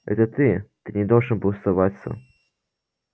это ты ты не должен был соваться